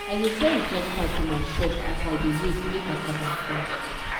i dey sell recharge card for my shop as i dey wait make cassava grow.